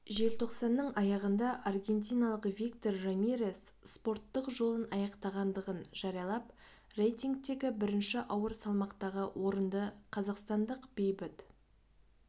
желтоқсанның аяғында аргентиналық виктор рамирес спортттық жолын аяқтағандығын жариялап рейтингтегі бірінші ауыр салмақтағы орынды қазақстандық бейбіт